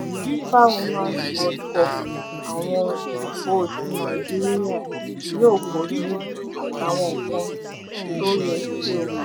fifa womans world cup awọn ikọ̀ tí nàìjíríà yóò kojú àtàwọn nǹkan tó yẹ kí ó mọ̀